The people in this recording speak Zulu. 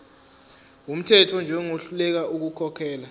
wumthetho njengohluleka ukukhokhela